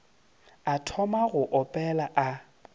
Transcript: a thoma go opela a